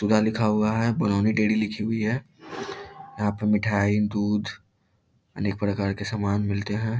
सुधा लिखा हुआ है बरौनी डेरी लिखी हुई है। यहाँ पे मिठाई दूध अनेक प्रकार के सामान मिलते हैं।